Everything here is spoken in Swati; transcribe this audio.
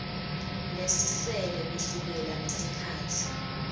lesisele kusukela ngesikhatsi